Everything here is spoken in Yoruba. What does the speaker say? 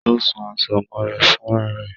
Ó ṣun aṣọ ọmọ rẹ̀ fúnrá rẹ̀